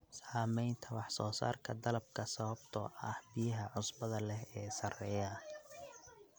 Saamaynta wax-soo-saarka dalagga sababtoo ah biyaha cusbada leh ee sarreeya.